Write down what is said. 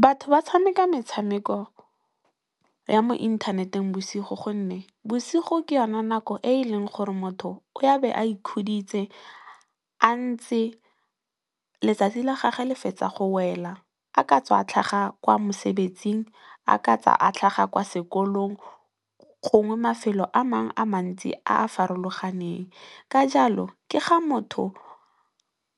Batho ba tshameka metshameko ya mo inthaneteng bosigo gonne, bosigo ke yone nako e e leng gore motho o ya be a ikhuditse a ntse letsatsi la gagwe le fetsa go wela a ka tswa a tlhaga kwa mosebetsing, a ka tswa a tlhaga kwa sekolong, gongwe mafelo a mangwe a mantsi a a farologaneng ka jalo ke ga motho